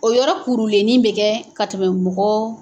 O yɔrɔ kurulenin bɛ kɛ ka tɛmɛ mɔgɔ